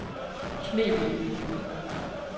Knebel